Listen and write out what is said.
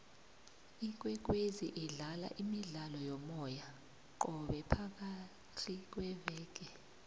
ikwekwezi idlala imidlalo yomoya qobe phakayhi kweveke